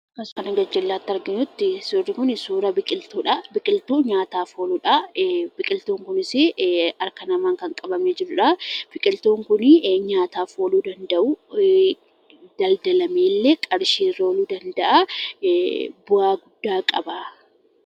As kana gajjallaatti arginu suurri Kun suura biqiltuudhaa biqiltuu nyaataaf ooludha. biqiltuun kunis harka namaan kan qabamee jirudha. biqiltuun kun nyaatadhaaf ooluu dandahu, daldalameerree qarshii fiduu ni Danda'aa bu'aa guddaa qaba.